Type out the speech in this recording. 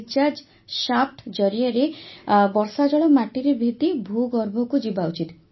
recharge shaft ଜରିଆରେ ବର୍ଷାଜଳ ମାଟିରେ ଭେଦି ଭୂଗର୍ଭକୁ ଯିବା ଉଚିତ